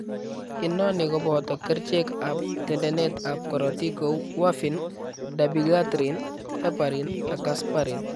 Inoni kobooto kercheek ab tendeneet ab korotik kou warfin, dabigatran, heparin ak asparin